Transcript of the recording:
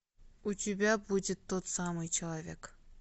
у тебя будет тот самый человек